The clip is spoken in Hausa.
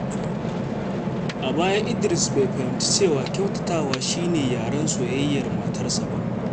A baya, Idris bai fahimci cewa kyautatawa shi ne yaren soyayyar matarsa ba.